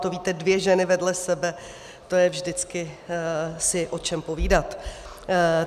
To víte, dvě ženy vedle sebe, to je vždycky si o čem povídat.